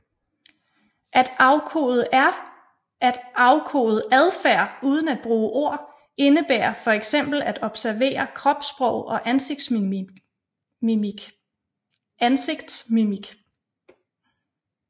At afkode adfærd uden at bruge ord indebærer fx at observere kropssprog og ansigtsmimik